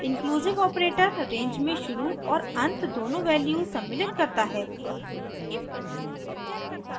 inclusive operator range में शुरू और अंत दोनों वैल्यूज सम्मिलित करता है